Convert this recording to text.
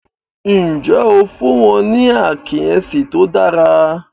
Ǹjẹ́ o fún wọ́n ní àkíyèsí tó dára?